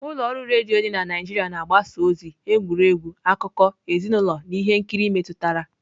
Ụlọ ọrụ redio dị na Naijiria na-agbasa ozi, egwuregwu, akụkọ, ezinụlọ na ihe nkiri metụtara.